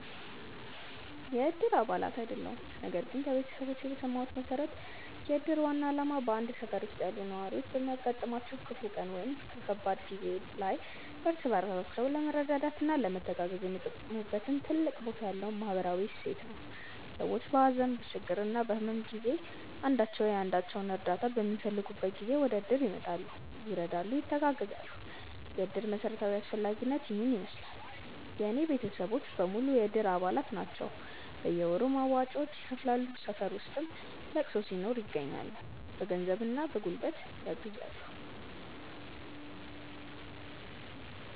የእድር አባል አይደለሁም ነገር ግን ከቤተሰቦቼ በሰማሁት መሠረት የእድር ዋና ዓላማ በአንድ ሠፈር ውስጥ ያሉ ነዋሪዎች በሚያጋጥማቸው ክፉ ቀን ወይም ከባድ ጊዜ ላይ እርስ በራሳቸው ለመረዳዳትና ለመተጋገዝ የሚጠቀሙበት ትልቅ ቦታ ያለው ማኅበራዊ እሴት ነው። ሰዎች በሀዘን፣ በችግርና በሕመም ጊዜ አንዳቸው የአንዳቸውን እርዳታ በሚፈልጉበት ጊዜ ወደእድር ይመጣሉ፤ ይረዳሉ፣ ይተጋገዛሉ። የእድር መሠረታዊ አስፈላጊነት ይሔን ይመሥላል። የእኔ ቤተሰቦች በሙሉ የእድር አባላት ናቸው ናቸው። በየወሩ መዋጮውን ይከፍላሉ፣ ሠፈር ውስጥ ለቅሶ ሲኖር ይገኛሉ። በገንዘብና በጉልበት ያግዛሉ።